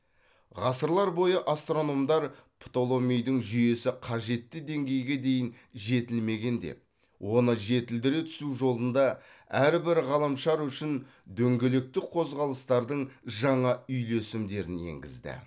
ғасырлар бойы астрономдар птоломейдің жүйесі қажетті деңгейге дейін жетілмеген деп оны жетілдіре түсу жолында әрбір ғаламшар үшін дөңгелектік қозғалыстардың жаңа үйлесімдерін енгізді